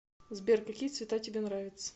сбер какие цвета тебе нравятся